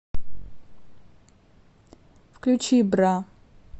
включи бра